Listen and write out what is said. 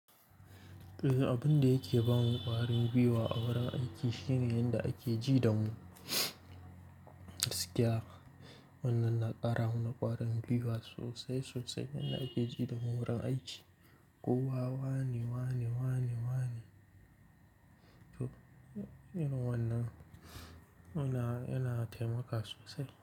Abin da yake ba mu ƙwarin gwiwa a wurin aiki shine yadda ake ji da mu. Gaskiya wannan na ƙara mana ƙwarin gwiwa sosai, sosai. Yanda ake ji da mu wurin aiki. Ko wa wane, wane, wane, wane. Irin wannan yana wannan, yana, yana taimaka sosai.